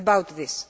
This